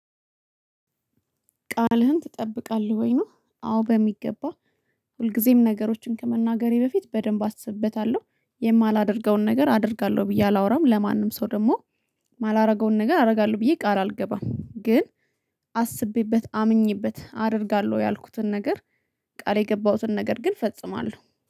"ቃልህን ትጠብቃለህ ወይ?" ነው። አዎ በሚገባ፣ ሁልጊዜም ነገሮችን ከመናገሬ በፊት በደንብ አስብበታለሁ፣ የማላደርገውን ነገር አደርጋለሁ ብዬ አላወራም፣ ለማንም ሰው ደግሞ የማላደርገውን ነገር አደርጋለሁ ብዬ ቃል አልገባም ግን አስቤበት፣ አምኜበት አደርጋለሁ ያልኩትን ነገር ቃል የገባሁትን ነገር ግን ፈጽማለሁ።